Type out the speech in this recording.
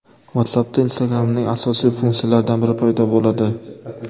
WhatsApp’da Instagram’ning asosiy funksiyalaridan biri paydo bo‘ladi.